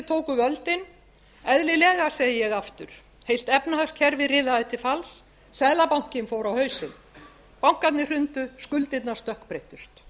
tóku völdin eðlilega segi ég aftur fyrst efnahagskerfið riðaði til falls seðlabankinn fór á hausinn bankarnir hrundu skuldirnar stökkbreyttust